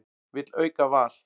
Vill auka val